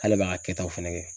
K'ale b'a ka kɛtaw fɛnɛ kɛ.